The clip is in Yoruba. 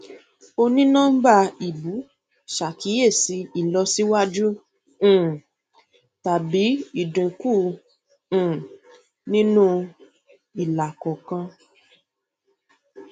onínọmbà ìbú ṣàkíyèsí ìlọsíwájú um tàbí ìdínkù um nínú ilà kọọkan